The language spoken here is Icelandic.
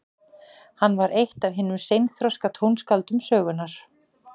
Hann var eitt af hinum seinþroska tónskáldum sögunnar.